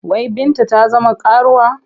Wai Binta ta zama karuwa?